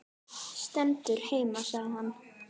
Stendur heima sagði hann.